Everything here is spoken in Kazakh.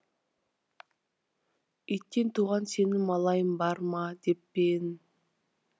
иттен туған сенін малайың бар деп пе ең